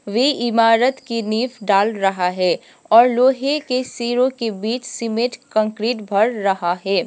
वे इमारत की नीव डाल रहा है और लोहे के शिरो के बीच सीमेंट कंक्रीट भर रहा है।